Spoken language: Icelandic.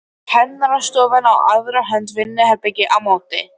Kennarastofan á aðra hönd, vinnuherbergi á móti.